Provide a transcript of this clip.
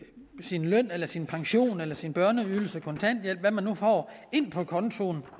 sin løn eller sin pension eller sin børneydelse kontanthjælp hvad man nu får ind på kontoen